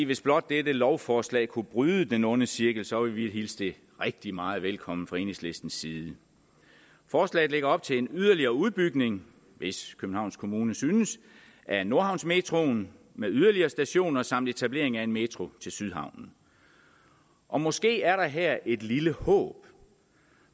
hvis blot dette lovforslag kunne bryde den onde cirkel så ville vi hilse det rigtig meget velkommen fra enhedslistens side forslaget lægger op til en yderligere udbygning hvis københavns kommune synes af nordhavnsmetroen med yderligere stationer samt etablering af en metro til sydhavnen og måske er der her et lille håb